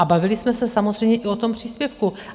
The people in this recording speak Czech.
A bavili jsme se samozřejmě i o tom příspěvku.